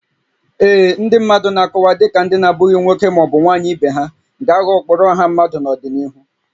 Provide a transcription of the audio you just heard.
Ee, ndị mmadụ na-akọwa dị ka ndị na-abụghị nwoke ma ọ bụ nwanyị ibe ha ga-aghọ ụkpụrụ ọha mmadụ n'ọdịnihu